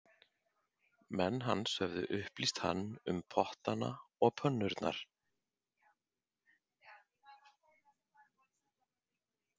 Menn hans höfðu upplýst hann um pottana og pönnurnar